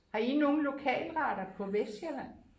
Har I nogle lokalretter på Vestsjælland